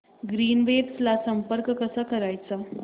Greenwaves ला संपर्क कसा करायचा